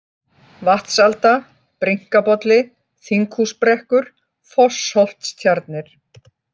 Vatnsalda, Brynkabolli, Þinghúsbrekkur, Fossholtstjarnir